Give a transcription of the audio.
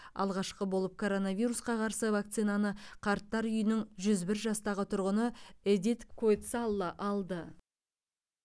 алғашқы болып коронавирусқа қарсы вакцинаны қарттар үйінің жүз бір жастағы тұрғыны эдит квойцалла алды